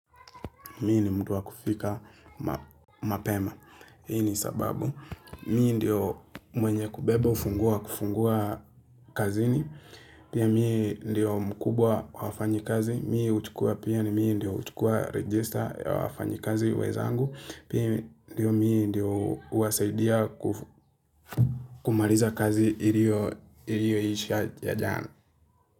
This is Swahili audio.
Mimi ni mtu wa kufika mapema. Hii sababu. Mimi ndio mwenye kubeba ufunguo wa kufungua kazini. Pia miye ndio mkubwa wa wafanyikazi. Mimi huchukua pia ni mimi ndio huchukua register ya wafanyikazi wenzaangu. Pia mimi ndio huwasaidia kumaliza kazi iliyoisha ya jana.